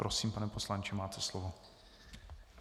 Prosím, pane poslanče, máte slovo.